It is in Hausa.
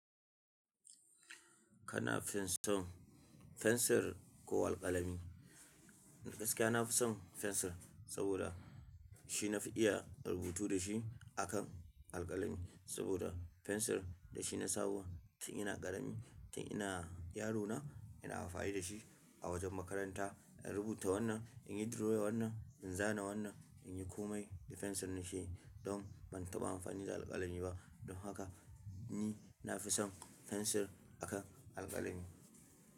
Kana fison fensir ko alƙalami? Gaskiya nafi son fensir saboda shi nafi iya rubutu dashi akan alƙalami. Saboda fensir da shi na saba tun ina ƙarami, tun ina yarona ina amfani dashi a wajen makaranta. In rubuta wannan, in yi drawing wannan, in zana wannan, in yi komai da fensir na keyi don ban taɓa amfani da alƙalami ba. Don haka ni nafi son fensir akan alƙalami.